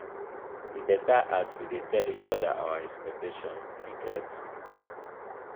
e beta as we dey tell each oda our expectations you get?